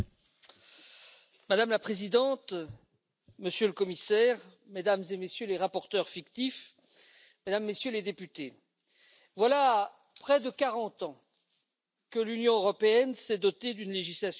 Madame la Présidente, Monsieur le Commissaire, Mesdames et Messieurs les rapporteurs fictifs, Mesdames et Messieurs les députés, voilà près de quarante ans que l'Union européenne s'est dotée d'une législation sur l'eau potable.